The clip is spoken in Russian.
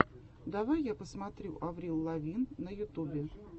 давай я посмотрю аврил лавин на ютубе